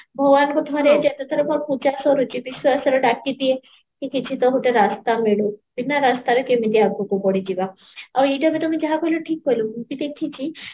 ଭଗବାନଙ୍କୁ ଯେତେ ଥର ମୋ ପୂଜା ସରୁଚି ବିଶ୍ଵାସ ଡାକିଦିଏ କି କିଛି ତ ଗୋଟେ ରାସ୍ତା ମିଳୁ ବିନା ରାସ୍ତାରେ କେମିତି ଆଗକୁ ବଢିଯିବା ଆଉ ଏଇଟା ବି ତମେ ଯାହା କହିଲା ଠିକ କହିଲା ମୁଁ ବି ଦେଖିଚି